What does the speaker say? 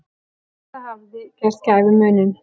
Þetta hafi gert gæfumuninn.